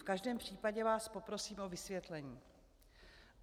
V každém případě vás poprosím o vysvětlení.